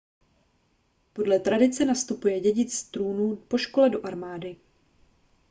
podle tradice nastupuje dědic trůnu po škole do armády